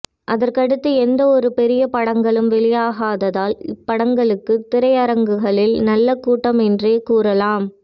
அதற்கு அடுத்து எந்த ஒரு பெரிய படங்களும் வெளியாகாததால் இப்படங்களுக்கு திரையரங்குகளில் நல்ல கூட்டம் என்றே கூறலாம்